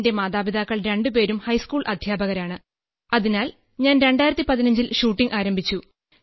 എന്റെ മാതാപിതാക്കൾ രണ്ടുപേരും ഹൈസ്കൂൾ അധ്യാപകരാണ് അതിനാൽ ഞാൻ 2015 ൽ ഷൂട്ടിംഗ് ആരംഭിച്ചു